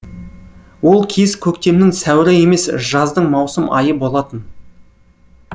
ол кез көктемнің сәуірі емес жаздың маусым айы болатын